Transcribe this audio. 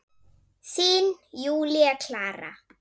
Þín, Júlía Klara.